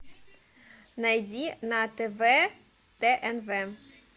найди на тв тнв